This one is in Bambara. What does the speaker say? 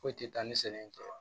Foyi tɛ taa ni sɛnɛ in kɔ